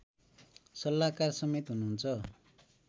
सल्लाहकार समेत हुनुहुन्छ